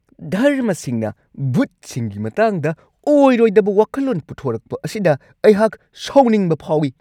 ꯙꯔꯃꯁꯤꯡꯅ ꯚꯨꯠꯁꯤꯡꯒꯤ ꯃꯇꯥꯡꯗ ꯑꯣꯏꯔꯣꯏꯗꯕ ꯋꯥꯈꯜꯂꯣꯟ ꯄꯨꯊꯣꯔꯛꯄ ꯑꯁꯤꯗ ꯑꯩꯍꯥꯛ ꯁꯥꯎꯅꯤꯡꯕ ꯐꯥꯎꯋꯤ ꯫